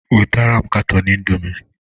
wetara m katọn indomi!